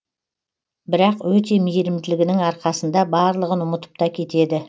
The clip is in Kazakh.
бірақ өте мейірімділігінің арқасында барлығын ұмытып та кетеді